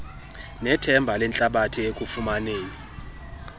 nethemba lehlabathi ekufumaneni